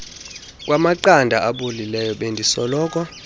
kwamaqanda abolileyo bendisoloko